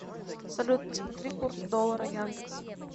салют посмотри курс доллара яндекс